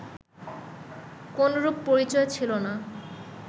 কোনরূপ পরিচয় ছিল না